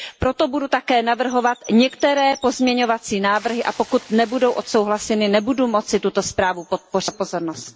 Proto budu také navrhovat některé pozměňovací návrhy a pokud nebudou odsouhlaseny, nebudu moci tuto zprávu podpořit.